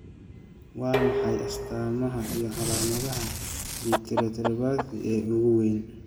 Waa maxay astamaha iyo calaamadaha Vitreoretinochoroidopathy ee ugu weyn?